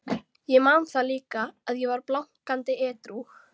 Ég man það líka, að ég var blankandi edrú.